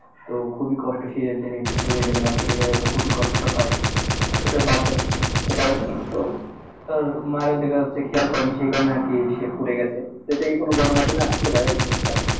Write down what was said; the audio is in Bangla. তো খুবই কষ্ট শীতের দিনে একটু পুড়ে গেলে বা কেটে গেলেতো খুবই কষ্ট হয় আসলে বাচ্ছাতো বুজতে পারেনি তো মায়েরা ও দেখা যাচ্ছে খেয়াল করে নি সে কারনে সে আর কি পুড়ে গেছে তো এইটাকি কনো গণমাধ্যমে আসছিলো এই news টা